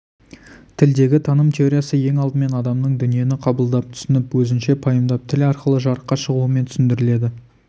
тілдегі таным теориясы ең алдымен адамның дүниені қабылдап түсініп өзінше пайымдап тіл арқылы жарыққа шығуымен түсіндіріледі